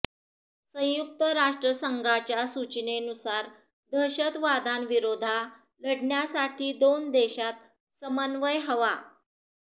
संयुक्त राष्ट्रसंघाच्या सूचनेनुसार दहशतवादाविरोधा लढण्यासाठी दोन देशांत समन्वय हवा